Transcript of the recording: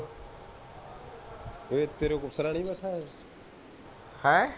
ਹੈਂ